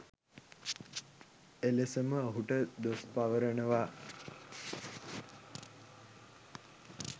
එලෙසම ඔහුට දොස් පවරනවා